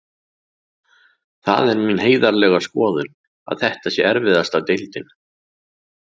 Það er mín heiðarlega skoðun að þetta sé erfiðasta deildin.